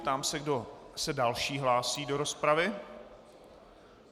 Ptám se, kdo se další hlásí do rozpravy.